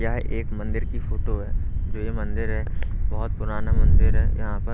यह एक मंदिर की फोटो है जो यह मंदिर है बहोत पुराना मंदिर है यहा पर--